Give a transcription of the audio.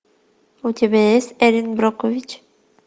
у тебя есть эрин брокович